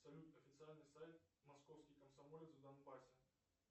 салют официальный сайт московский комсомолец в донбассе